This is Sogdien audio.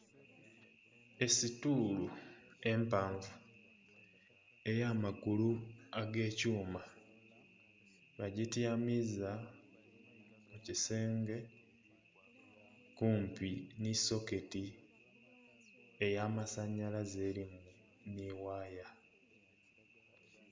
Esituulu empanvu eya magulu agekyuma bagityamiza kukisenge kumpi ni soketi eya masanalaze erimu ni waaya.